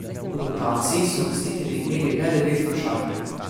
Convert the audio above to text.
V rotaciji so gostitelji imeli le devet košarkarjev.